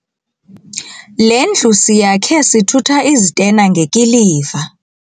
Le ndlu siyakhe sithutha izitena ngekiliva.